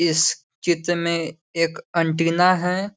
इस चित्र में एक अंटीना है।